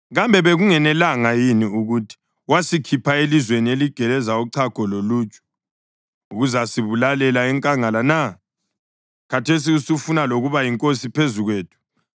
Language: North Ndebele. Kambe bekungenelanga yini ukuthi wasikhipha elizweni eligeleza uchago loluju ukuzasibulalela enkangala na? Khathesi usufuna lokuba yinkosi phezu kwethu?